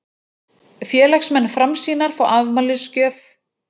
Félagsmenn Framsýnar fá afmælisgjöf